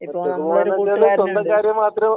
ഒറ്റക്ക് പോവുണ്ടെങ്കിൽ സ്വന്തം കാര്യം മാത്രം